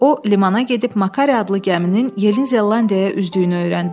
O limana gedib Makari adlı gəminin Yeni Zelandiyaya üzdüyünü öyrəndi.